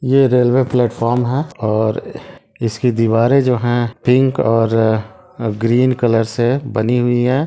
यह railway platform है और इसकी दीवारें जो हैं पिंक और ग्रीन कलर से बनी हुई है।